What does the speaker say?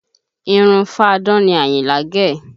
Irun fáadán ni Àyìnlá gẹ̀